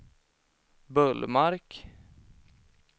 Bullmark